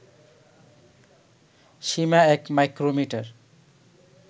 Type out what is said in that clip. Seema ১ micrometer